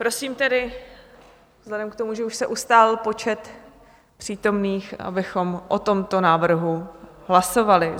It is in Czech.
Prosím tedy vzhledem k tomu, že už se ustálil počet přítomných, abychom o tomto návrhu hlasovali.